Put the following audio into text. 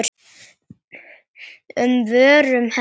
um vörum hennar.